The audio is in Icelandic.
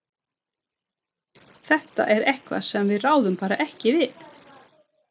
Þetta er eitthvað sem við ráðum bara ekki við.